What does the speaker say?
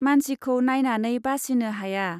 मानसिखौ नाइनानै बासिनो हाया।